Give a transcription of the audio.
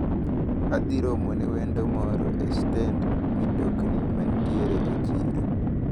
Adhi romone wendo moro e stend mitokni manitiere e chiro.